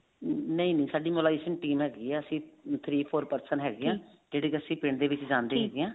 ਨਹੀਂ ਨਹੀਂ ਸਾਡੀ mobilization team ਹੈਗੀ ਅਸੀਂ three four person ਹੈਗੇ ਹਾਂ ਜਿਹੜੇ ਕੀ ਅਸੀਂ ਦੇ ਵਿੱਚ ਜਾਂਦੇ ਹੈਗੇ ਆ